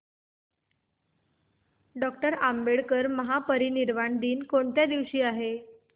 doctor Ambedkar महापरिनिर्वाण दिन कोणत्या दिवशी आहे